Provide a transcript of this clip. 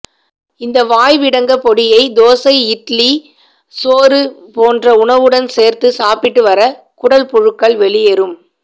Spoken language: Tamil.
இந்த வாய் விடங்கப் பொடியை தோசை இட்டிலி சோறு போன்ற உணவுடன் சேர்த்து சாப்பிட்டு வர குடல் புழுக்கள் வெளியேறும்